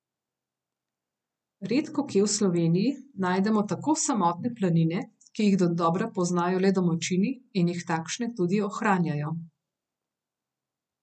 Redkokje v Sloveniji najdemo tako samotne planine, ki jih dodobra poznajo le domačini in jih takšne tudi ohranjajo.